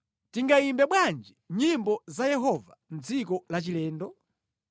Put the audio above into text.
Tingayimbe bwanji nyimbo za Yehova mʼdziko lachilendo?